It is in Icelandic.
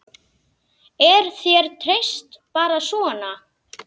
Er þér treyst bara svona?